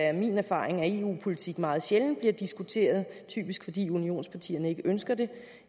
er min erfaring at eu politik meget sjældent bliver diskuteret typisk fordi unionspartierne ikke ønsker det